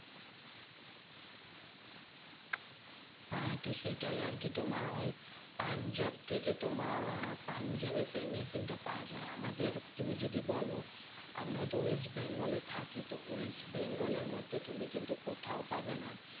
হ্যাঁ তো সেটাই আরকি। তোমার ওই পাঞ্জাব থেকে তোমার আহ পাঞ্জাবে সেই machine টা পাওয়া যায়। আমাদের তুমি যদি বোলো, আমরা তো west bengal এ থাকি। তো west bengal এর মধ্যে তুমি কিন্তু কোথাও পাবে না